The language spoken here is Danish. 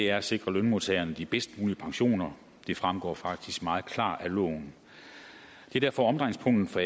er at sikre lønmodtagerne de bedst mulige pensioner det fremgår faktisk meget klart af loven det er derfor omdrejningspunktet for